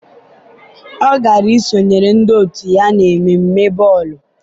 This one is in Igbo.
ọ gara isonyere ndị otu ya n'ememme bọọlụ.